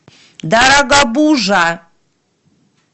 дорогобужа